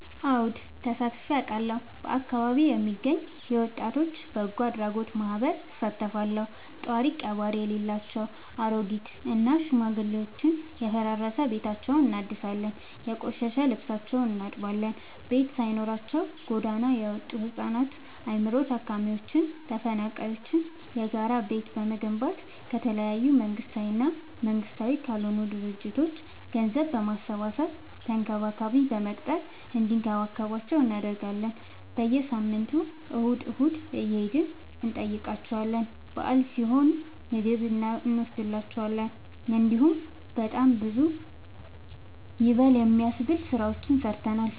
አወድ ተሳትፊ አውቃለሁ። በአካቢዬ የሚገኝ የወጣቶች በጎአድራጎት ማህበር እሳተፋለሁ። ጦሪቀባሪ የሌላቸው አሬጊት እና ሽማግሌዎችን የፈራረሰ ቤታቸውን እናድሳለን፤ የቆሸሸ ልብሳቸውን እናጥባለን፤ ቤት ሳይኖራቸው ጎዳና የወጡቱ ህፃናትን አይምሮ ታማሚዎችን ተፈናቃይዎችን የጋራ ቤት በመገንባት ከተለያዩ መንግስታዊ እና መንግስታዊ ካልሆኑ ድርጅቶች ገንዘብ በማሰባሰብ ተንከባካቢ በመቅጠር እንዲከባከቧቸው እናደርጋለን። በየሳምንቱ እሁድ እሁድ እየሄድን እንጠይቃቸዋለን በአል ሲሆን ምግብ እኖስድላቸዋለን። እንዲሁም በጣም ብዙ ይበል የሚያስብ ስራዎችን ሰርተናል።